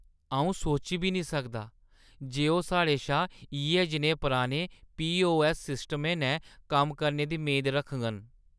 अʼऊ सोची बी निं सकदा जे ओह् साढ़े शा इʼयै जनेहे पराने पीओऐस्स सिस्टमें नै कम्म करने दी मेद रखङन।